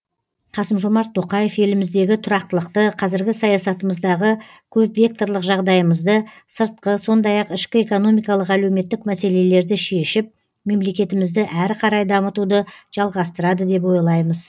қасым жомарт тоқаев еліміздегі тұрақтылықты қазіргі саясатымыздағы көпвекторлық жағдайымызды сыртқы сондай ақ ішкі экономикалық әлеуметтік мәселелерді шешіп мемлекетімізді әрі қарай дамытуды жалғастырады деп ойлаймыз